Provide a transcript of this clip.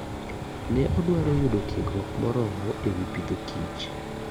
Ne odwaro mar yudo tiegruok morormo ewi pidho kich.